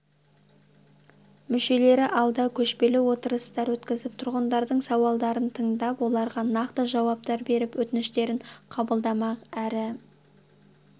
мүшелері алда көшпелі отырыстар өткізіп тұрғындардың сауалдарын тыңдап оларға нақты жауаптар беріп өтініштерін қабылдамақ әрі